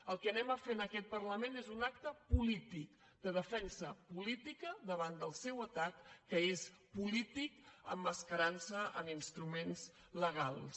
el que farem en aquest parlament és un acte polític de defensa política davant del seu atac que és polític emmascarantse en instruments legals